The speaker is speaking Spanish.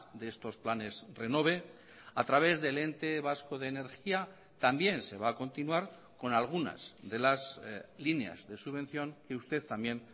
de estos planes renove a través del ente vasco de energía también se va a continuar con algunas de las líneas de subvención que usted también